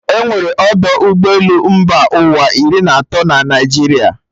E nwere ọdọ ụgbọ elu mba ụwa iri na atọ na obodo Naijiria